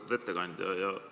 Lugupeetud ettekandja!